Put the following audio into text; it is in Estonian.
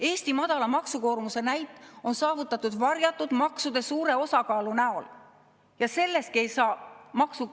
Eesti madala maksukoormuse näit on saavutatud varjatud maksude suure osakaalu abil.